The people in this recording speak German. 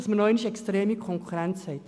Das erhöht die Konkurrenz enorm.